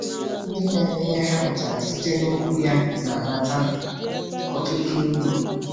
Ndị na-eme ihe ha mụtara site n’Okwu Ya na-anata ọtụtụ uru.